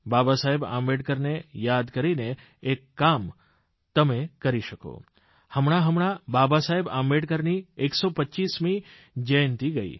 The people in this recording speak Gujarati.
બાબાસાહેબ આંબેડકરને યાદ કરીને એક કામ તમે કરી શકો હમણાંહમણાંબાબાસાહેબઆંબેડકરની 125મી જયંતિ ગઇ